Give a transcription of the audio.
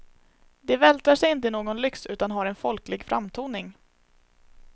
De vältrar sig inte i någon lyx utan har en folklig framtoning.